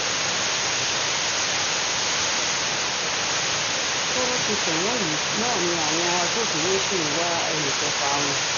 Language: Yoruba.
bọ́wọ́ ṣe tẹ̀ wọ́n yìí náà ni àwọn agbófinró sì ń wá ẹnì kẹfà wọn